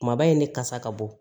Kumaba in ne kasa ka bɔ